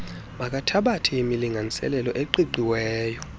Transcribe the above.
makathabathe imilinganiselo eqiqiweyo